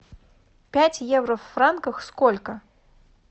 пять евро в франках сколько